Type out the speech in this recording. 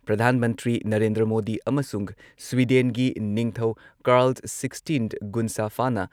ꯄ꯭ꯔꯙꯥꯟ ꯃꯟꯇ꯭ꯔꯤ ꯅꯔꯦꯟꯗ꯭ꯔ ꯃꯣꯗꯤ ꯑꯃꯁꯨꯡ ꯁ꯭ꯋꯤꯗꯦꯟꯒꯤ ꯅꯤꯡꯊꯧ ꯀꯥꯔꯜ ꯁꯤꯛꯁꯇꯤꯟ ꯒꯨꯟꯁꯥꯐꯥꯅ